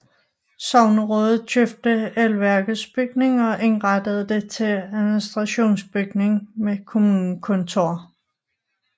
Sognerådet købte elværkets bygning og indrettede det til administrationsbygning med kommunekontor